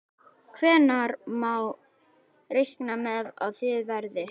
Hvenær má reikna með að það verði?